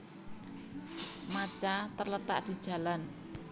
Majta terletak di Jalan